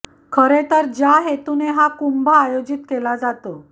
खरे तर ज्या हेतूने हा कुंभ आयोजित केला जातो